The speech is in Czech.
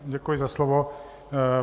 Děkuji za slovo.